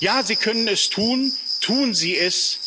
Ja, Sie können es tun, tun Sie es!